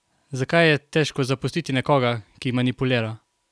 Zakaj je težko zapustiti nekoga, ki manipulira?